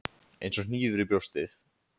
Eins og hnífur í brjóstið.